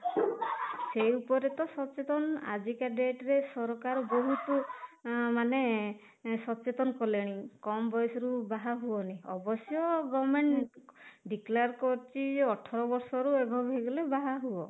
ସେଇ ଉପରେ ତ ସଚେତନ ଆଜି କା dateରେ ସରକାର ବହୁତ ମାନେ ସଚେତନ କଲେଣି, କମ ବୟସରୁ ବାହା ହୁଅନି ଅବଶ୍ୟ government declare କରିଛି ଅଠର ବର୍ଷ ରୁ above ହେଇଗଲେ ବାହା ହୁଅ